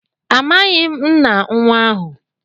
Amaghim nna nwa ahu.